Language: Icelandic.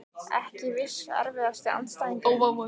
Ekki viss Erfiðasti andstæðingur?